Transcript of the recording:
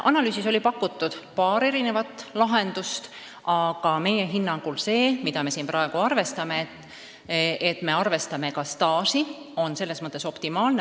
Analüüsis pakuti paari erinevat lahendust, meie hinnangul on see, mida me siin praegu arutame, selles mõttes optimaalne, et arvestatakse ka tööstaaži.